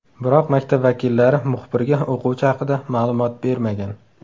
Biroq maktab vakillari muxbirga o‘quvchi haqida ma’lumot bermagan.